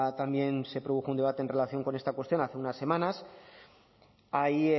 también se produjo un debate en relación con esta cuestión hace unas semanas hay